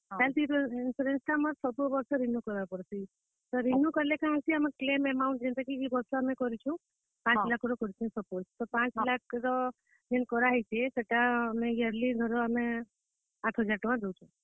Insurance ଟା ଆମର ସବୁ ବର୍ଷ renew କର୍ ବା କେ ପଡ୍ ସି। ତ renew କାଣା ହେସି ଯେନ୍ ଟାକି ଆମର claim amount ଯେନ୍ ଟା କି ଆମେ ଇ ବର୍ଷ କରିଛୁଁ। ପାଞ୍ଚ ଲାଖ୍ ର ଯଦି ଆମେ କରିଛୁଁ suppose ତ ପାଞ୍ଚ ଲାଖ୍ ର ଯେନ୍ କରାହେଇଛେ। ସେଟା ଆମେ yearly ଧର ଆମେ ଆଠ ହଜାର ଟଙ୍କା ଦଉଛୁଁ।